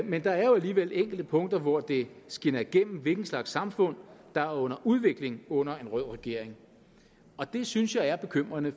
men der er alligevel enkelte punkter hvor det skinner igennem hvilken slags samfund der er under udvikling under en rød regering og det synes jeg er bekymrende